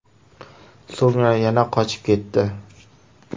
So‘ngra yana qochib ketdi.